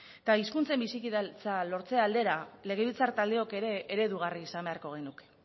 eta hizkuntzen bizikidetza lortze aldera legebiltzar taldeok ere eredugarri izan beharko genuke